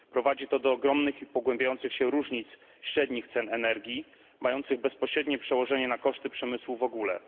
Prowadzi to do ogromnych i pogłębiających się różnic średnich cen energii, mających bezpośrednie przełożenie na koszty przemysłu w ogóle.